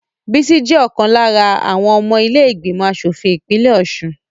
Bísí jẹ́ ọ̀kan lára àwọn ọmọ ilé ìgbìmọ̀ asòfin ìpínlẹ̀ Ọ̀ṣun